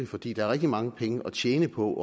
fordi der er rigtig mange penge at tjene på